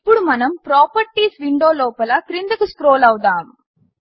ఇప్పుడు మనము ప్రాపర్టీస్ విండోలోపల క్రిందకు స్క్రోల్ చేద్దాము